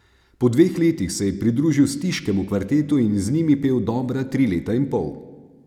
Po dveh letih se je pridružil Stiškemu kvartetu in z njimi pel dobra tri leta in pol.